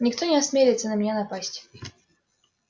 никто не осмелится на меня напасть